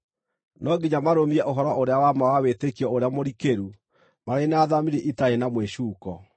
No nginya marũmie ũhoro-ũrĩa-wa-ma wa wĩtĩkio ũrĩa mũrikĩru marĩ na thamiri itarĩ na mwĩcuuko.